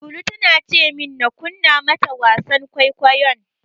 Lulu tana ce min na kunna mata wasan kwaikwayon.